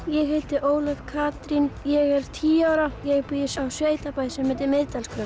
ég heiti Ólöf Katrín ég er tíu ára ég bý á sveitabæ sem heitir